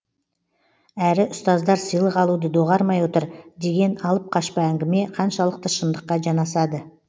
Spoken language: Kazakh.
әрі ұстаздар сыйлық алуды доғармай отыр деген алып қашпа әңгіме қаншалықты шындыққа жанасады